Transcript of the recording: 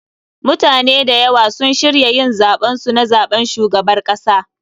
MUtane da ywa sun shirya yin zaben su na zaɓen shugabar kasa.